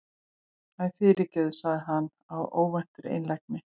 Æ, fyrirgefðu- sagði hann af óvæntri einlægni.